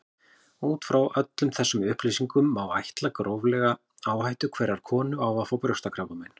Út frá öllum þessum upplýsingum má áætla gróflega áhættu hverrar konu á að fá brjóstakrabbamein.